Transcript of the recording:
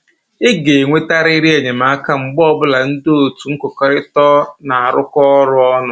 Ị ga-enwetarịrị enyemaka mgbe ọbụla ndị otu nkụkọrịta na-arụkọ ọrụ ọnụ